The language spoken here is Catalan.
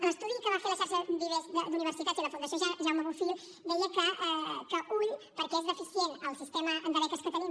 l’estudi que van fer la xarxa vives d’universitats i la fundació jaume bofill deia que compte perquè és deficient el sistema de beques que tenim